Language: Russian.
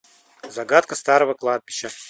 загадка старого кладбища